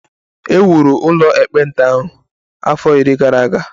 E wuru ụlọ ekpenta ahụ afọ iri gara aga